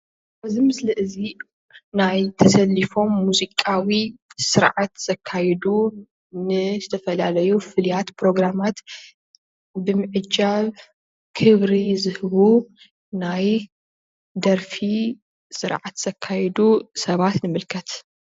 እዚ ምስሊ እዚ ናይ ተሰሊፎም ሙዚቃዊ ስርዓት ዘካይዱ ንዝተፈላለዩ ፍሉያት ብሮግራማት ብምዕጃብ ክብሪ ዝህቡ ናይ ደርፊ ስርዓት ዘካይዱ ሰባት ንምልከት።